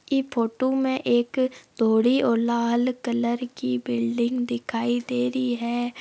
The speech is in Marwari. इ फोटो में एक अ धोळी और लाल कलर की बिल्डिंग दिखाय दे रही है।